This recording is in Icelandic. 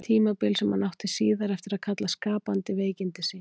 Tímabil sem hann átti síðar eftir að kalla skapandi veikindi sín.